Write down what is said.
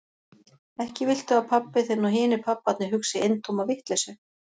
Ekki viltu að pabbi þinn og hinir pabbarnir hugsi eintóma vitleysu?